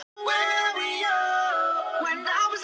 Við erum ekki ein!